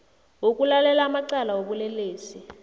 wokulalela amacala wobulelesi